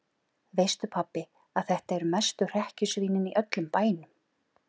Veistu pabbi að þetta eru mestu hrekkjusvínin í öllum bænum.